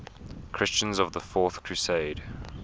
christians of the fourth crusade